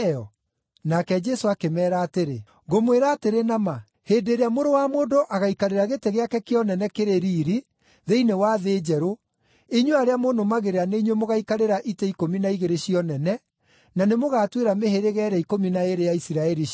Nake Jesũ akĩmeera atĩrĩ, “Ngũmwĩra atĩrĩ na ma, hĩndĩ ĩrĩa Mũrũ wa Mũndũ agaikarĩra gĩtĩ gĩake kĩa ũnene kĩrĩ riiri, thĩinĩ wa thĩ njerũ, inyuĩ arĩa mũnũmagĩrĩra nĩ inyuĩ mũgaikarĩra itĩ ikũmi na igĩrĩ cia ũnene, na nĩmũgatuĩra mĩhĩrĩga ĩrĩa ikũmi na ĩĩrĩ ya Isiraeli ciira.